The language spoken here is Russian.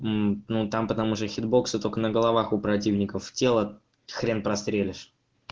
ну там потому что хитбоксы только на головах у противников тело хрен прострелишь